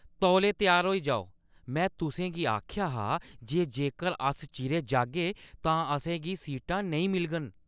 तौले त्यार होई जाओ! में तुसें गी आखेआ हा जे जेकर अस चिरें जाह्‌गे तां असें गी सीटां नेईं मिलङन।